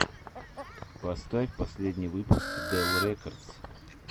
поставь последний выпуск дел рекордс